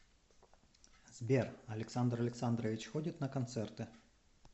сбер александр александрович ходит на концерты